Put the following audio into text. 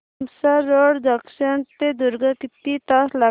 Tumsar road junction ते दुर्ग किती तास लागतील